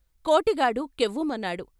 Kotigadu కెవ్వుమన్నాడు.